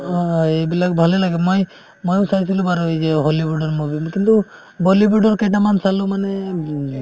অ, এইবিলাক ভালে লাগে মই ময়ো চাইছিলো বাৰু এই যে হলিউডৰ movie কিন্তু বলীউডৰ কেইটামান চালো মানে উম